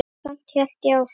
Samt hélt ég áfram.